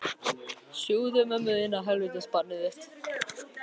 Kýstu þá húðlátið fremur, spurði lögmaður.